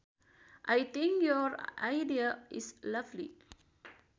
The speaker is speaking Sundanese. I think your idea is lovely